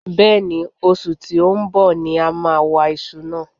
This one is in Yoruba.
bẹ́ẹ̀ ni, osù tí ó ń bọ̀ ni a máa wa iṣu náà.